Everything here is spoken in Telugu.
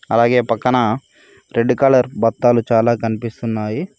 అలాగే పక్కన రెడ్ కలర్ బత్తాలు చాలా కనిపిస్తున్నాయి.